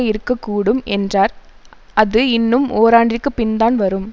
இருக்க கூடும் என்றார் அது இன்னும் ஓராண்டிற்குப் பின்தான் வரும்